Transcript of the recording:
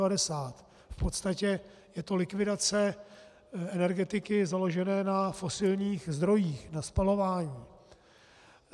V podstatě je to likvidace energetiky založené na fosilních zdrojích, na spalování.